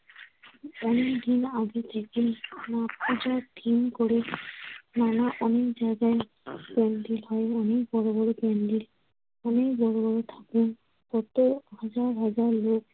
অনেকদিন আগে থেকেই পূজার theme করে। নানা অনেক জায়গায় প্যান্ডেল হয়, অনেক বড় বড় প্যান্ডেল। অনেক বড় বড় ঠাকুর। কত হাজার হাজার লোক।